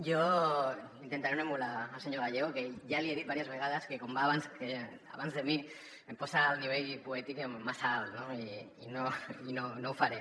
jo intentaré no emular el senyor gallego que ja li he dit diverses vegades que com va abans de mi em posa el nivell poètic massa alt no i no ho faré